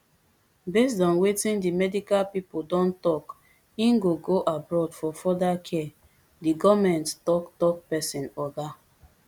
based on wetin di medical pipo don tok im go go abroad for further care di goment tok tok pesin oga